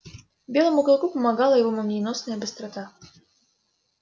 белому клыку помогала его молниеносная быстрота